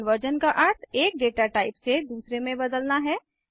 type conversion का अर्थ एक डेटा टाइप से दूसरे में बदलना है